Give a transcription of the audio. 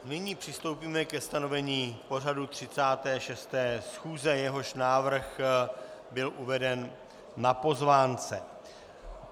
Nyní přistoupíme ke stanovení pořadu 36. schůze, jehož návrh byl uveden na pozvánce.